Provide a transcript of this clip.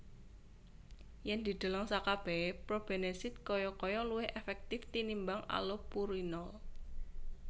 Yen dideleng sakabehe probenesid kaya kaya luwih efektif tinimbang allopurinol